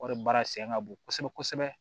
Wari baara sɛgɛn ka bon kosɛbɛ kosɛbɛ